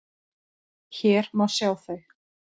Hér má sjá þau.